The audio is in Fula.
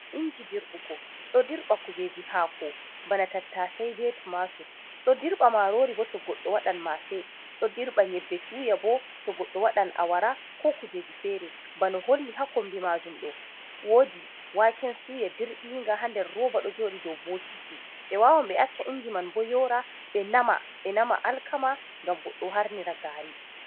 inji dirɓugo, ɗo dirɓa kujeji haako, bana tattasai be tumatur. Ɗo dirɓa marori bo to goɗɗo waɗan masai, ɗo dirɓa nyebbe suya bo to goɗɗo waɗan awara, ko kujeji fere bano holli haa kombi maajum ɗo, wodi waken suya dirɓinga ha nder roba, ɗo joɗi dou bokiti, ɓe wawan ɓe acca inji man bo yoora ɓe nama alkama ngam goɗɗo harnira gaari.